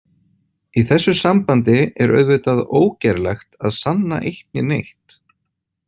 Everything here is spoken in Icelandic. Í þessu sambandi er auðvitað ógerlegt að sanna eitt né neitt.